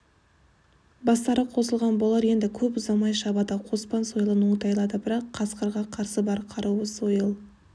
бастары қосылған болар енді көп ұзамай шабады қоспан сойылын оңтайлады бірақ қасқырға қарсы бар қаруы сойыл